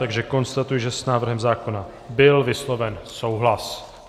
Takže konstatuji, že s návrhem zákona byl vysloven souhlas.